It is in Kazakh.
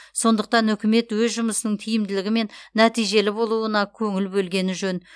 сондықтан үкімет өз жұмысының тиімділігі мен нәтижелі болуына көңіл бөлгені жөн